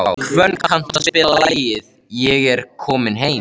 Hvönn, kanntu að spila lagið „Ég er kominn heim“?